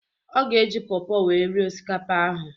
Ọ ga-eji pawpaw wee rie osikapa ahụ